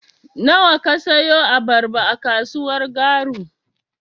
Nawa ka siyo abarba a kasuwar Garu.